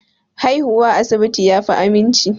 Haihuwa a asibiti yafi aminci